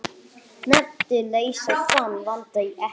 Nefndir leysa þann vanda ekki.